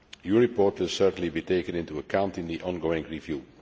Your report will certainly be taken into account in the ongoing review.